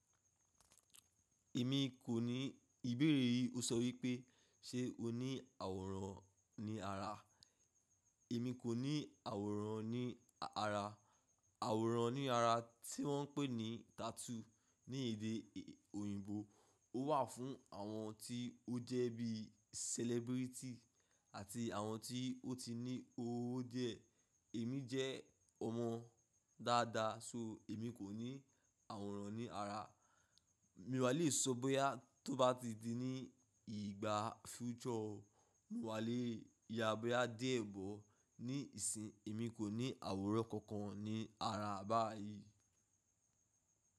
Èmi kò ní ìbéèrè yìí. Ó sọ wípé ṣe o ní àwòrán ní ara? Èmi kò ní àwòrán ní ara. Àwòrán ní ara tí wọ́n ń pè ní tattoo ní èdè òyìnbó. Ó wà fún àwọn tí ó jẹ́ bí celebrity àti àwọn tí ó ti ní owó díẹ̀. Èmi jẹ́ ọmọ dáadáa, ṣo èmi kò ní àwòrán ní ara. Mí wá lè sọ bóyá tó bá ti di ní ìgbà future o, mo wà lè yá bóyá dié bọ ní ìsìn. Èmi kò ní àwòrán kankan ní ara báyìí.